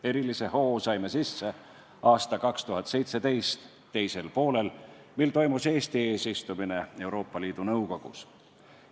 Erilise hoo saime sisse 2017. aasta teisel poolel, kui toimus Eesti eesistumine Euroopa Liidu Nõukogus.